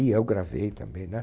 E eu gravei também, né?